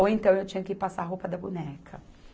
Ou então eu tinha que ir passar a roupa da boneca.